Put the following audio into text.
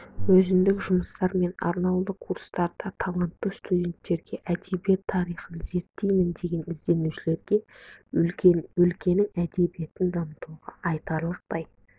өзіндік жұмыстар мен арнаулы курстарда талантты студенттерге әдебиет тарихын зерттеймін деген ізденушілерге өлкенің әдебиетін дамытуда айтарлықтай